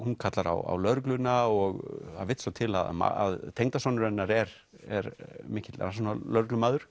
hún kallar á lögregluna og það vill svo til að tengdasonur hennar er er mikill rannsóknarlögreglumaður